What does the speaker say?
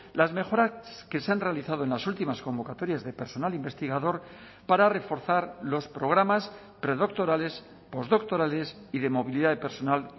las mejoras que se han realizado en las últimas convocatorias de personal investigador para reforzar los programas predoctorales postdoctorales y de movilidad de personal